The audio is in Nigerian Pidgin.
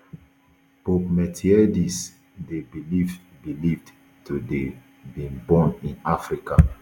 pope miltiades dey believed believed to dey been born in africa